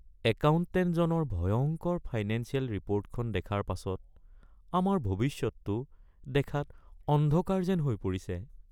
একাউণ্টেণ্টজনৰ ভয়ংকৰ ফাইনেঞ্চিয়েল ৰিপৰ্টখন দেখাৰ পাছত আমাৰ ভৱিষ্যতটো দেখাত অন্ধকাৰ যেন হৈ পৰিছে।